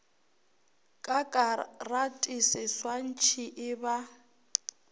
ka karate seswantšhi e ba